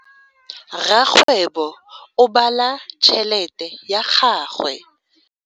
Rakgwebo o bala tšhelete ya gagwe.